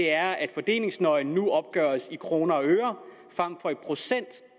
er at fordelingsnøglen nu opgøres i kroner og øre frem for i procent